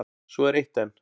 Svo er eitt enn.